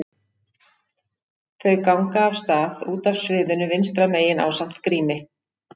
Þau ganga af stað út af sviðinu vinstra megin ásamt Grími.